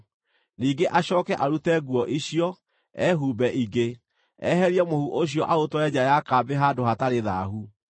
Ningĩ acooke arute nguo icio, ehumbe ingĩ, eherie mũhu ũcio aũtware nja ya kambĩ handũ hatarĩ thaahu.